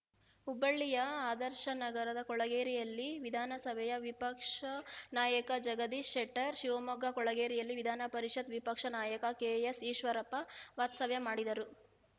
ಹುಬ್ಬಳ್ಳಿಯ ಆದರ್ಶನಗರದ ಕೊಳಗೇರಿಯಲ್ಲಿ ವಿಧಾನಸಭೆಯ ವಿಪಕ್ಷ ನಾಯಕ ಜಗದೀಶ್‌ ಶೆಟ್ಟರ್‌ ಶಿವಮೊಗ್ಗದ ಕೊಳಗೇರಿಯಲ್ಲಿ ವಿಧಾನಪರಿಷತ್‌ ವಿಪಕ್ಷ ನಾಯಕ ಕೆಎಸ್‌ಈಶ್ವರಪ್ಪ ವಾಸ್ತವ್ಯ ಮಾಡಿದರು